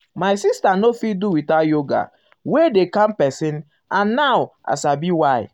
my sister no fit do without yoga wey wey dey calm person and now i sabi why.